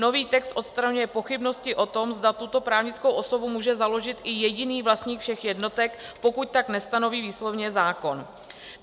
Nový text odstraňuje pochybnosti o tom, zda tuto právnickou osobu může založit i jediný vlastník všech jednotek, pokud tak nestanoví výslovně zákon.